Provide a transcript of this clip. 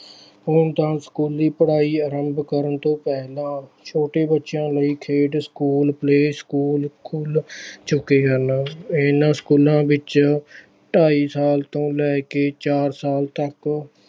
ਹੁਣ ਤਾਂ ਸਕੂਲੀ ਪੜ੍ਹਾਈ ਆਰੰਭ ਕਰਨ ਤੋਂ ਪਹਿਲਾਂ ਛੋਟੇ ਬੱਚਿਆਂ ਲਈ ਖੇਡ ਸਕੂਲ play ਸਕੂੂਲ ਖੁੱਲ ਚੁੱਕੇ ਹਨ ਇਹਨਾਂ ਸਕੂਲਾਂ ਵਿੱਚ ਢਾਈ ਸਾਲ ਤੋਂ ਲੈ ਕੇ ਚਾਰ ਸਾਲ ਤੱਕ